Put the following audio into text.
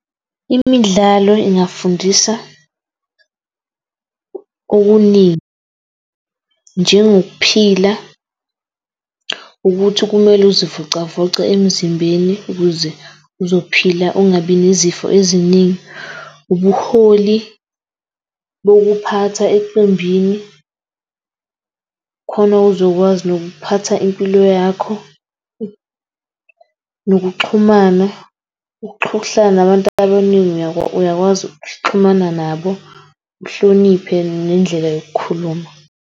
Imidlalo ingafundisa okuningi njengokuphila ukuthi kumele uzivocavoce emzimbeni ukuze uzophila ungabi nezifo eziningi. Ubuholi bokuphatha eqembini khona uzokwazi nokuphatha impilo yakho nokuxhumana ukuhlala nabantu abaningi uyakwazi ukuxhumana nabo. Uhloniphe, nendlela yokukhuluma.